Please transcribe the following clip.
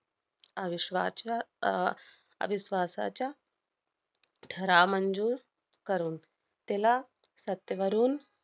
अविश्वाच्या~ अह अविश्वासाच्या ठराव मंजूर करून त्याला सत्तेवरून